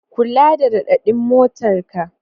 Kula da raɗaɗin motarka.